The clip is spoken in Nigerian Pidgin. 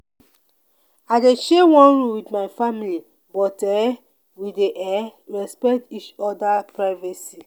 i dey share one room wit my family but um we dey um respect each oda privacy.